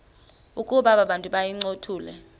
ukuba abantu bayincothule